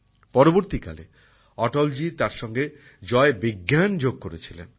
পরবর্তীকালে অটলজি তার সঙ্গে জয় বিজ্ঞান যোগ করেছিলেন